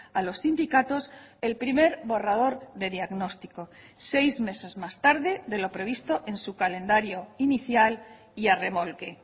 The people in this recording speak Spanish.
a los sindicatos el primer borrador de diagnóstico seis meses más tarde de lo previsto en su calendario inicial y a remolque